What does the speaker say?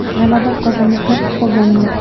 G‘alaba qozonishni istaganman.